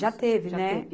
Já teve, né? Já teve